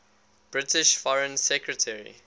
british foreign secretary